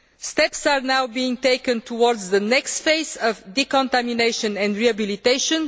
Steps are now being taken towards the next phase of decontamination and rehabilitation.